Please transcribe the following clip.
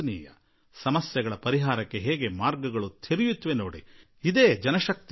ಸಮಸ್ಯೆಗಳ ಪರಿಹಾರಕ್ಕೆ ಹೇಗೆ ಹಾದಿಗಳು ತೆರೆದುಕೊಳ್ಳುತ್ತವೆ ಇದೇನೆ ಜನಶಕ್ತಿ ಎನ್ನುವುದು